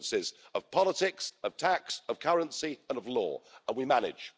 Differences of politics, of tax, of currency and of law and we manage.